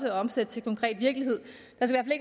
at omsætte til konkret virkelighed